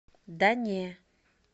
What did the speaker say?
да не